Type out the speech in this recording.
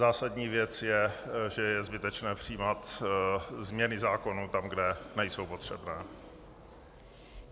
Zásadní věc je, že je zbytečné přijímat změny zákonů tam, kde nejsou potřebné.